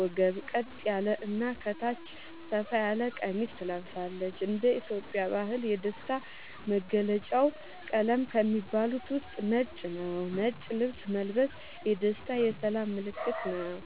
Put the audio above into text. ወገብ ቀጥ ያለ እና ከታች ሰፋ ያለ ቀሚስ ትለብሳለች )እንደ ኢትዮጵያ ባህል የደስታ መገልውጫ ቀለም ከሚባሉት ውስጥ ነጭ ነዉ ነጭ ልብስ መልበስ የደስታ የሰላም ምልክትም ነዉ